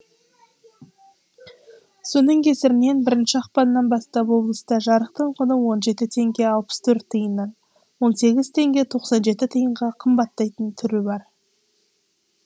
соның кесірінен бірінші ақпаннан бастап облыста жарықтың құны он жеті теңге алпыс төрт тиыннан он сегіз теңге тоқсан жеті тиынға қымбаттайтын түрі бар